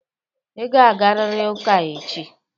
Ị ga-agarịrị ụka echi!